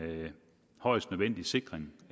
højst nødvendig sikring